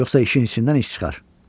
Yoxsa işin içindən iş çıxar.